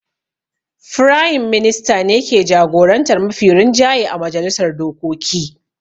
Firayim Minista ne ke jagorantar mafi rinjaye a majalisar dokoki.